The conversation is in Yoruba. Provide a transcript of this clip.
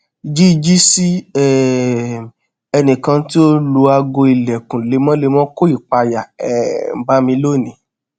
jiji si um ẹnikan ti o n lu aago ilẹkun lemọlemọ ko ipaya um ba mi lonii